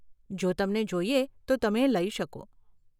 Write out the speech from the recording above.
જો તમને જોઈએ તો તમે એ લઇ શકો.